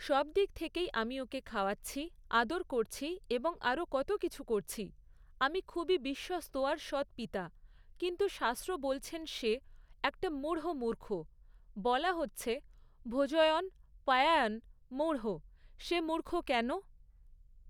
সবদিক থেকেই আমি ওকে খাওয়াচ্ছি, আদর করছি এবং আরও কতো কিছু করছি। আমি খুবই বিশ্বস্ত আর সৎ পিতা, কিন্তু শাস্ত্র বলছেন সে একটা মূঢ় মূর্খ, বলা হচ্ছে "ভোজয়ন্ পায়ায়ন মূঢ়ঃ", সে মূর্খ কেন?